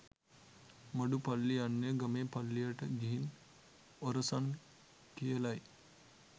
මඩු පල්ලි යන්නේ ගමේ පල්ලියට ගිහින් ඔරසන් කියලයි.